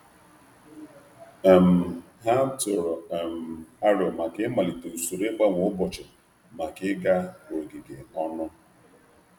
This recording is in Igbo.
um Ha tụrụ aro ka ha malite um usoro ntụgharị maka nleta ogige.